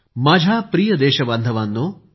माझ्या प्रिय देशबांधवांनो